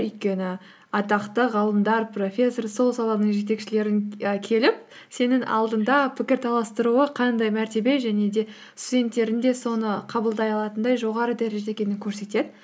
өйткені атақты ғалымдар профессор сол саланың жетекшілерін і келіп сенің алдыңда пікірталастыруы қандай мәртебе және де студенттердің де соны қабылдай алатындай жоғары дәрежеде екенін көрсетеді